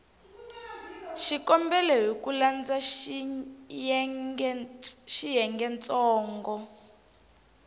xikombelo hi ku landza xiyengentsongo